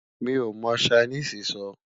mí o mọ Chinese sọ